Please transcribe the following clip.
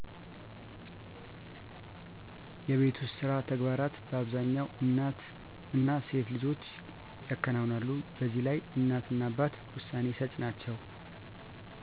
የቤት ውስጥ ስራ ተግባራት በአብዛኛው እናት እና ሴት ልጆች ያከናውናሉ። በዚህ ላይ እናት እና አባት ውሳ ሰጭ ናቸው።